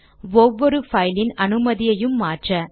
C ஒவ்வொரு பைலின் அனுமதியையும் மாற்ற